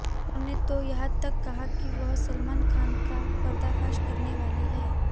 उन्होंने तो यहां तक कहा कि वह सलमान खान का पर्दाफाश करनेवाली हैं